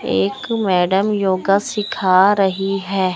एक madam yoga सीखा रही है।